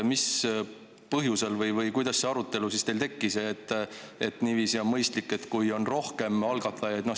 Mis põhjusel või kuidas see arutelu teil tekkis, et niiviisi on mõistlik, kui on rohkem algatajaid.